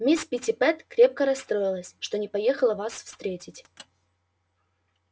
мисс питти крепко расстроилась что не поехала вас встретить